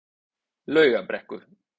Laugarbrekku